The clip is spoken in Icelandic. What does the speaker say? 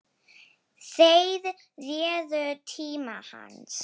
Þeir réðu tíma hans.